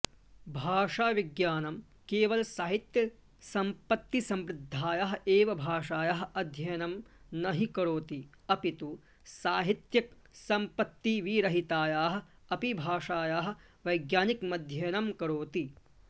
भाषाविज्ञानं केवल साहित्यसम्पत्तिसमृद्धायाः एव भाषायाः अध्ययनं नहि करोति अपितु साहित्यिकसम्पत्तिविरहितायाः अपि भाषायाः वैज्ञानिकमध्ययनं करोति